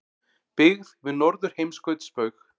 Byggð við Norðurheimskautsbaug.